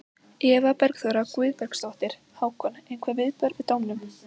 Eva Bergþóra Guðbergsdóttir: Hákon, einhver viðbrögð við dómnum?